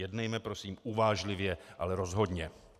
Jednejme prosím uvážlivě, ale rozhodně.